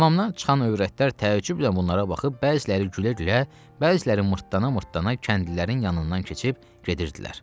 Hamamdan çıxan övrətlər təəccüblə bunlara baxıb, bəziləri gülə-gülə, bəziləri mırtlana-mırtlana kəndlilərin yanından keçib gedirdilər.